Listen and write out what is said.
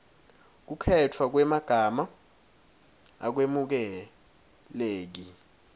kukhetfwa kwemagama akwemukeleki